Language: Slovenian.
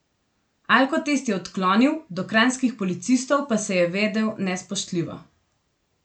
Alkotest je odklonil, do kranjskih policistov pa se je vedel nespoštljivo.